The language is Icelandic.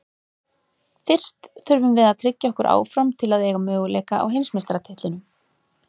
Fyrst þurfum við að tryggja okkur áfram til að eiga möguleika á heimsmeistaratitlinum.